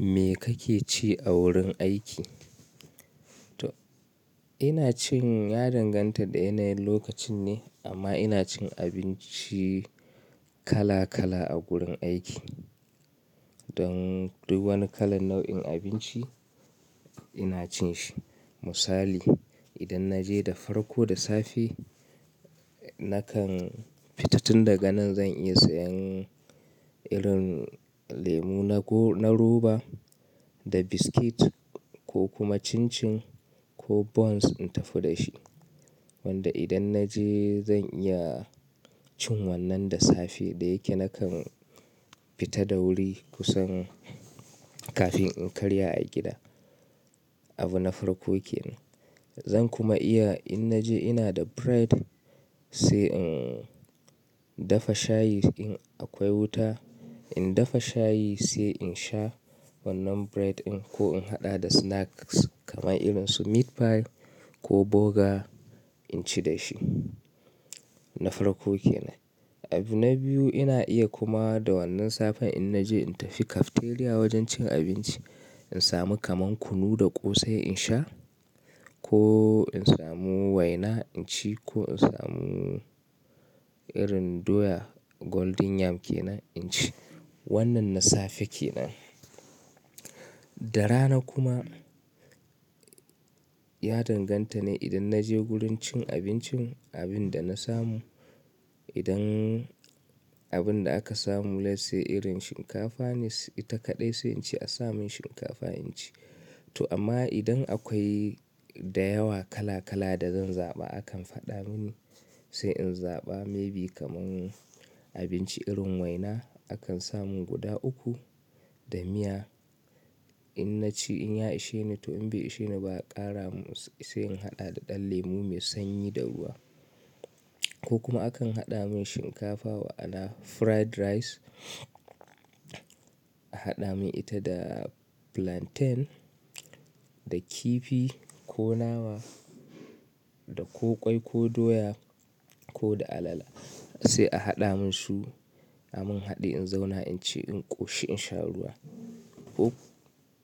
Me kake ci a wurin aiki? To ina cin ya danganta da yanayin lokacin ne amma ina cin abinci kala kala a gurin aiki. Don duk wani kalan nau'in abinci ina cin shi. Misali idan naje da farko da safe nakan fita tun daga nan zan iya sayan irin lemu na roba, da biskit ko kuma chin chin ko buns in tafi da shi. Wanda idan naje zan iya cin wannan da safe da yake nakan fita da wuri kusan kafin in karya a gida. Abu na farko kenan. Zan kuma iya in naje ina da bread sai in dafa shayi in aƙwai wuta, in dafa shayi sai in sha wannan bread ɗin ko in haɗa da snacks kamar irin su meat pie ko burger inci dashi. Na farko kenan. Abu na biyu ina iya kuma da wannan safen in naje in tafi cafeteria wajen cin abinci in samu kamar kunu da ƙosai in sha, ko in samu waina in ci ko in samu irin doya golden yam kenan in ci. Wannan na safe kenan. Da rana kuma ya danganta ne idan naje wurin cin abincin abinda na samu. Idan abinda aka samu let's say irin shinkafa ne ita kaɗai sai ince a samun shinkafa inci. To amma idan akwai da yawa kala kala da zan zaɓa akan faɗa mini sai in zaɓa maybe kamar abinci irin waina akan sa mun guda uku da miya. In naci inya isheni to in bai isheni ba a ƙara mun sai in haɗa da ɗan lemu mai sanyi da ruwa. Ko kuma akan haɗa mun shinkafa wa'ala fried rice a haɗa mun ita da plantain da kifi ko nama da ko ƙwai ko doya koda alala sai a haɗa mun su a mun haɗi in zauna inci in ƙoshi in sha ruwa.